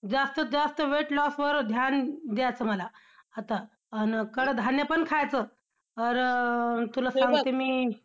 जास्त जास्त weight loss वर ध्यान द्यायचं मला आता, आन कडधान्य पण खायचं और तुला सांगते मी,